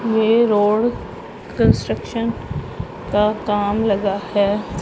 ये road construction का काम लगा है।